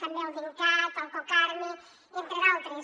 també el dincat el cocarmi entre d’altres